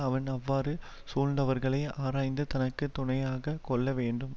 அவன் அவ்வாறு சூழ்ந்தவர்களை ஆராய்ந்து தனக்கு துணையாக கொள்ள வேண்டும்